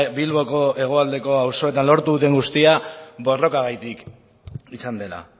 bilboko hegoaldeko auzoetan lortu den guztia borrokagatik izan dela